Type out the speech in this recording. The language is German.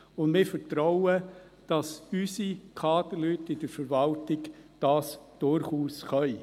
Wir vertrauen darauf, dass unsere Kaderleute in der Verwaltung das durchaus können.